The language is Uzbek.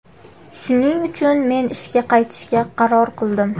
Shuning uchun men ishga qaytishga qaror qildim.